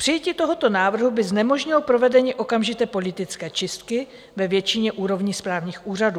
Přijetí tohoto návrhu by znemožnilo provedení okamžité politické čistky ve většině úrovní správních úřadů.